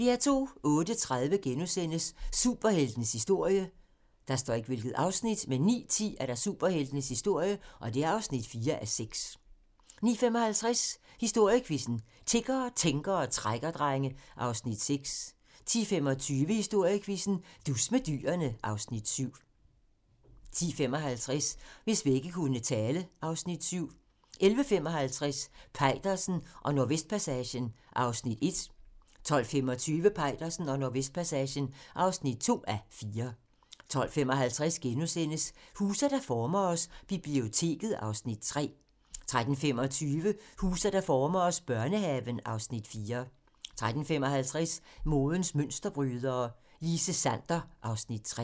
08:30: Superheltenes historie * 09:10: Superheltenes historie (4:6) 09:55: Historiequizzen: Tiggere, tænkere og trækkerdrenge (Afs. 6) 10:25: Historiequizzen: Dus med dyrene (Afs. 7) 10:55: Hvis vægge kunne tale (Afs. 7) 11:55: Peitersen og Nordvestpassagen (1:4) 12:25: Peitersen og Nordvestpassagen (2:4) 12:55: Huse, der former os: Biblioteket (Afs. 3)* 13:25: Huse, der former os: Børnehaven (Afs. 4) 13:55: Modens mønsterbrydere: Line Sander (Afs. 3)